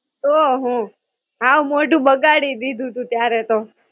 તો હું, હાવ મોઢું બગાડી દીધું તું ત્યારે તો.